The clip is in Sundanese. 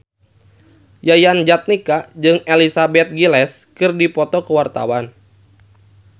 Yayan Jatnika jeung Elizabeth Gillies keur dipoto ku wartawan